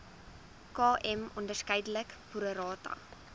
km onderskeidelik prorata